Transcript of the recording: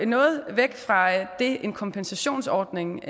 noget væk fra det en kompensationsordning